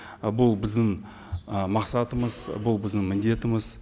ы бұл біздің ы мақсатымыз бұл біздің міндетіміз